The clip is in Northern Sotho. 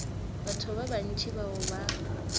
batho ba bantši bao ba